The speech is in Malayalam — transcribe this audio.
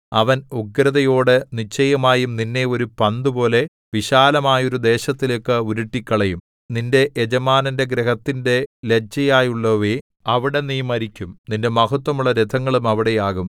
അവൻ ഉഗ്രതയോടെ നിശ്ചയമായും നിന്നെ ഒരു പന്തുപോലെ വിശാലമായൊരു ദേശത്തിലേക്ക് ഉരുട്ടിക്കളയും നിന്റെ യജമാനന്റെ ഗൃഹത്തിന്റെ ലജ്ജയായുള്ളോവേ അവിടെ നീ മരിക്കും നിന്റെ മഹത്ത്വമുള്ള രഥങ്ങളും അവിടെയാകും